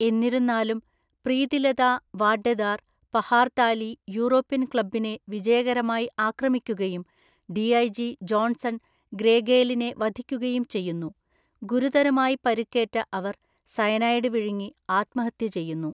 എന്നിരുന്നാലും, പ്രീതിലതാ വാഡ്ഡെദാർ പഹാർതാലി യൂറോപ്യൻ ക്ലബ്ബിനെ വിജയകരമായി ആക്രമിക്കുകയും ഡിഐജി ജോൺസൺ ഗ്രേഗേലിനെ വധിക്കുകയും ചെയ്യുന്നു; ഗുരുതരമായി പരുക്കേറ്റ അവർ സയനൈഡ് വിഴുങ്ങി ആത്മഹത്യ ചെയ്യുന്നു.